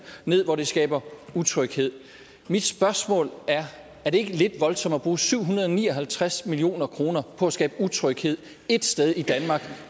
hvor det skaber utryghed mit spørgsmål er er det ikke lidt voldsomt at bruge syv hundrede og ni og halvtreds million kroner på at skabe utryghed ét sted i danmark